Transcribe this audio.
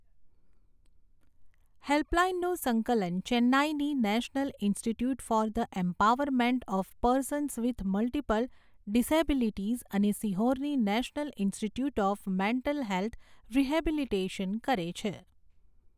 હેલ્પલાઇનનું સંકલન ચેન્નાઈની national institute for the empowerment of persons with multiple disabilities અને સીહોરની national institute of mental health rehabilitation કરે છે.